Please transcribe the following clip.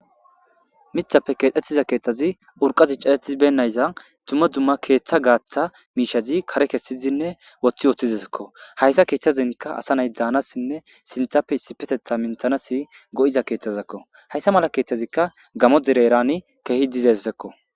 Mithapfe keexettiza keetthazi urqazi caetibennaysza dumma dzumma keeththa gaaththa miishazi kare kessizinne woththi wootiziekko hayssa keeththazinka asa nay dzaanassinne sinthappe issipetetha minthanasi go'iza keeththazekko hayssa mala keeththazikka gamo dere erani keehi dizessekko.